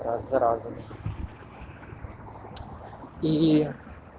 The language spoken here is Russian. раз за разом и